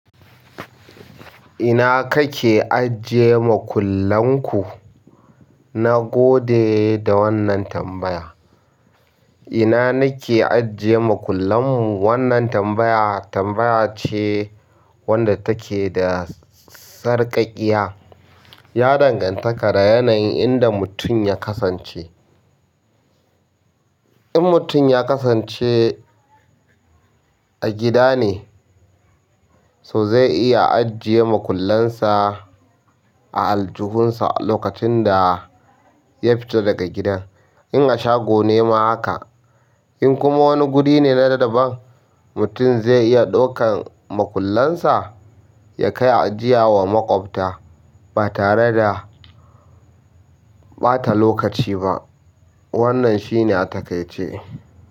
Ina kake ajiye makullan ku? Na gode da wannan tambaya. Ina nake ajiye makullan mu? Wannan tambaya tambaya ce wadda take da sarƙaƙiya, ya danganta da yanayin inda mutum ya kasance. In mutum ya kasance a gida ne, so zai iya ajiye makullansa a aljihunsa lokacin da ya fito daga gidan. In a shago ne ma haka, in kuma wani guri ne na daban, mutum zai iya ɗaukan makullansa ya kai ajiya wa maƙwabta ba tare da ɓata lokaci ba. Wannan shi ne a takaice.